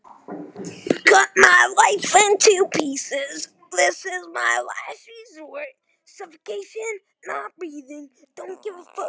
Hún rifjar upp gömul kynni frá því fyrir tuttugu árum.